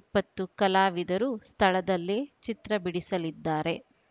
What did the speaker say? ಇಪ್ಪತ್ತು ಕಲಾವಿದರು ಸ್ಥಳದಲ್ಲೇ ಚಿತ್ರ ಬಿಡಿಸಲಿದ್ದಾರೆ